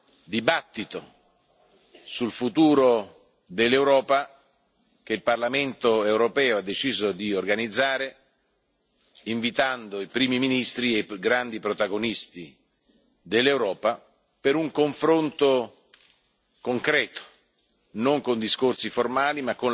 questa è la prima discussione sul futuro dell'Europa che il Parlamento europeo ha deciso di organizzare, invitando i Primi ministri e i più grandi protagonisti dell'Europa per un confronto concreto,